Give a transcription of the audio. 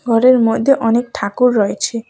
ঘরের মধ্যে অনেক ঠাকুর রয়েছে।